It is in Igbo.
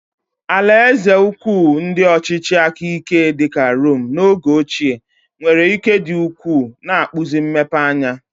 Alaeze ukwu ndị ọchịchị aka ike dị ka Rome oge ochie nwere ike dị ukwuu, na-akpụzi mmepeanya.